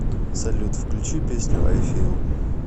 салют включи песню ай фил